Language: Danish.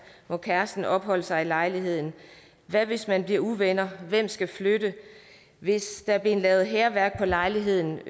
hvor kæresten opholdt sig i lejligheden hvad hvis man bliver uvenner hvem skal så flytte hvis der er blevet lavet hærværk på lejligheden